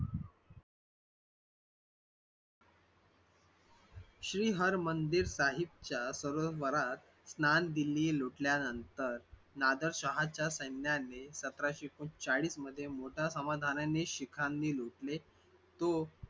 श्रीहर मंदिर साहेबाच्या सरोवरात स्थान दिल्ली लुटल्यानंतर नादर शहाच्या सैन्याने सतराशे एकोणचाळीस मध्ये मोठ्या समाधानाने शिखांनी लुटले तो